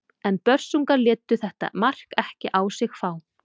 En Börsungar létu þetta mark ekki á sig fá.